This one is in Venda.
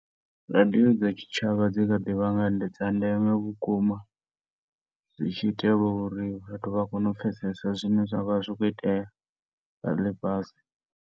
Radio dza tshitshavha dzikha ḓi vha dza ndeme vhukuma zwitshi itelwa uri vhathu vha kone u pfesesa zwine zwavha zwi kho itea zwa ḽifhasi.